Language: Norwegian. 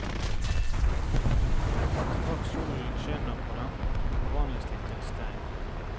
Straks solen skinner på dem, forvandles de til stein.